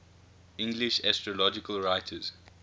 english astrological writers